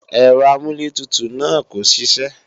Ẹ̀rọ amúlẹ̀tutù náà kò ṣiṣẹ́